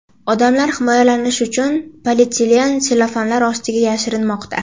Odamlar himoyalanish uchun polietilen sellofanlar ostiga yashirinmoqda.